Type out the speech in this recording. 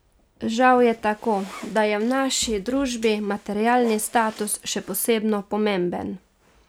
Žal je tako, da je v naši družbi materialni status še posebno pomemben.